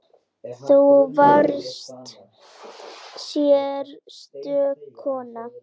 Þú varst sérstök kona.